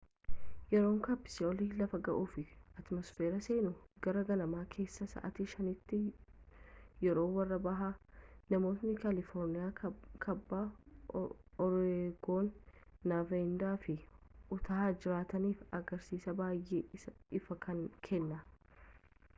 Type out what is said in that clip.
yeroo kaapsuliin lafa ga’uu fi atiimosfeeri seenuu gara ganama keessaa sa’aatii 5’tti yeroo warra baha namoota kaaliforniyaa kaabaa oreegoon nevaada fi utaah jiraataniif agarsiisa baay’ee ifaa kenna